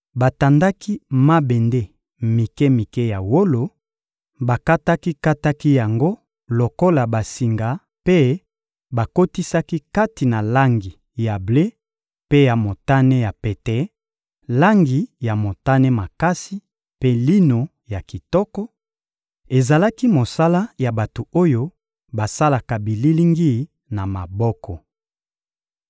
Batandaki mabende mike-mike ya wolo, bakataki-kataki yango lokola basinga mpe bakotisaki kati na langi ya ble mpe ya motane ya pete, langi ya motane makasi mpe lino ya kitoko; ezalaki mosala ya bato oyo basalaka bililingi na maboko.